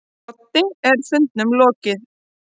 Broddi: En fundinum lokið.